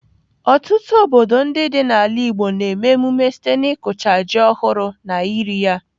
Ọtụtụ obodo ndị dị n'ala Igbo na-eme emume site n'ịkụcha ji ọhụrụ na iri ya.